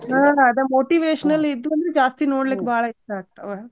ಹಾ ಅದ motivational ಇದ್ವು ಅಂದ್ರ ಜಾಸ್ತಿ ನೋಡ್ಲಿಕ್ಕ್ ಬಾಳ ಇಷ್ಟಾ ಆಗ್ತಾವ.